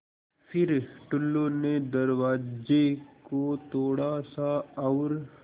फ़िर टुल्लु ने दरवाज़े को थोड़ा सा और